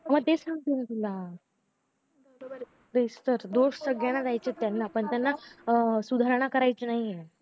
मग तेच सांगते ना तुला दोष सगळ्याला देयचे त्यांना अं पण त्यांना सुधारणा करायची नाहीए